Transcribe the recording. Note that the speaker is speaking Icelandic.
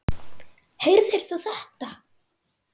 Heyrðir þú þetta?